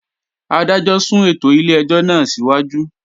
Adájọ́ sún ètò ilé-ẹjọ́ náà síwájú